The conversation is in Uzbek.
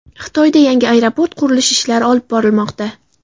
Xitoyda yangi aeroport qurilish ishlari olib borilmoqda.